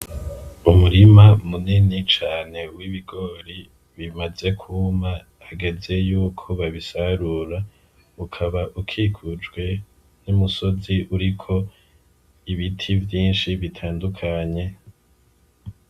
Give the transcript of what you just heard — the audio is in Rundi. Umurima munini cane w'ibigori bimaze kwuma hageze yuko babisarura ukaba ukikujwe n'umusozi uriko ibiti vyinshi bitandukanye..